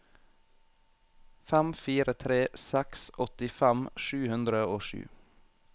fem fire tre seks åttifem sju hundre og sju